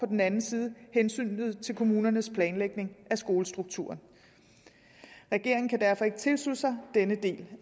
den anden side hensynet til kommunernes planlægning af skolestrukturen regeringen kan derfor ikke tilslutte sig denne del